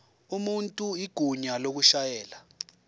umuntu igunya lokushayela